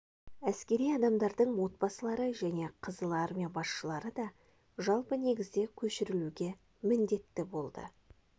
әскери адамдардың отбасылары және қызыл армия басшылары да жалпы негізде көшірілуге міндетті болды